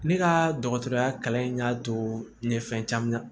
Ne ka dɔgɔtɔrɔya kalan in y'a to ne ye fɛn caman